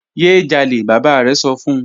Ye jale baba rẹ sọ fun